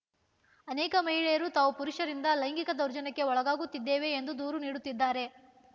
ಅನೇಕ ಮಹಿಳೆಯರು ತಾವು ಪುರುಷರಿಂದ ಲೈಂಗಿಕ ದೌರ್ಜನ್ಯಕ್ಕೆ ಒಳಗಾಗುತ್ತಿದ್ದೇವೆ ಎಂದು ದೂರು ನೀಡುತ್ತಿದ್ದಾರೆ